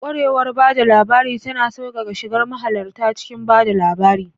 Kwarewar ba da labari tana sauƙaƙe shigar mahalarta cikin ba da labari.